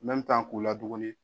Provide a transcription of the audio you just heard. k'u laduguni.